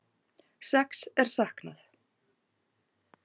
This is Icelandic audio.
Sex er saknað